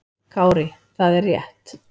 Kári: Það er rétt.